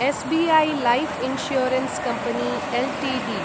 SBI life insurance company Ltd